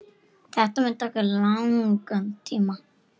Þetta mun taka langan tíma.